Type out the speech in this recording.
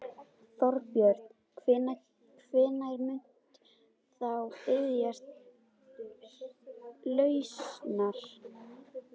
Þorbjörn: Hvenær muntu þá biðjast lausnar?